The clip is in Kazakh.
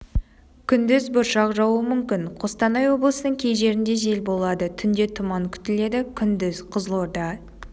күндіз бұршақ жаууы мүмкін қостанай облысының кей жерінде жел болады түнде тұман күтіледі күндіз қызылорда